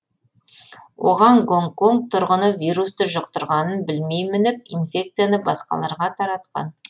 оған гонконг тұрғыны вирусты жұқтырғанын білмей мініп инфекцияны басқаларға таратқан